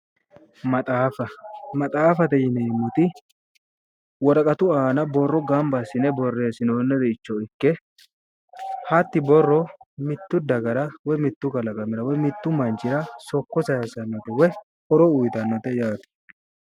Maxaaffate yineemmoti woraqattu aanna borro ganba assine boreessinooniha ikana hatti borrono ilamate soko sayisannota ikitanno